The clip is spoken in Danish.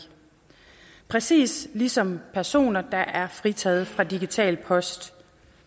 præcis ligesom personer der er fritaget for digital post